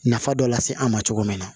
Nafa dɔ lase an ma cogo min na